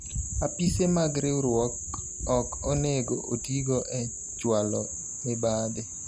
Apise mag riwruok ok onego otigo e chwalo mibadhi